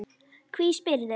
Hví spyrðu?